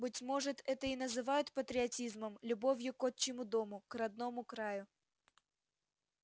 быть может это и называют патриотизмом любовью к отчему дому к родному краю